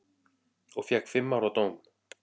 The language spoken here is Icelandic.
Og fékk fimm ára dóm.